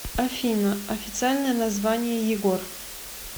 афина официальное название егор